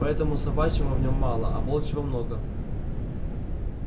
поэтому собачьего в нем мало а волчьего много